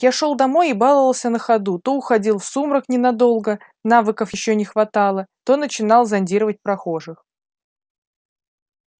я шёл домой и баловался на ходу то уходил в сумрак ненадолго навыков ещё не хватало то начинал зондировать прохожих